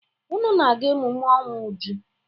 Unu na-aga emume ọnwụ Uju.